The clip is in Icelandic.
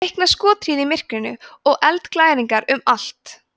var feikna skothríð í myrkrinu og eldglæringar um allt